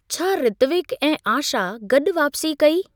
छा ऋत्विक ऐं आशा गॾु वापसी कई?